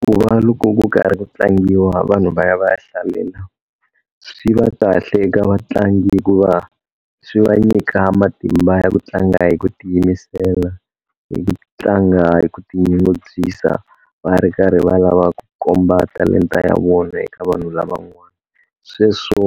Ku va loko ku karhi ku tlangiwa vanhu va ya va ya hlalela swi va kahle eka vatlangi hikuva swi va nyika matimba ya ku tlanga hi ku ti yimisela, hi ku tlanga hi ku tinyungubyisa va ri karhi va lava ku komba talenta ya vona eka vanhu lavan'wana. Sweswo